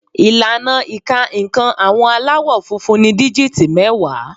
Ìlànà ìka nǹkan àwọn Aláwọ̀ funfun ni díjìtì mẹ́wàá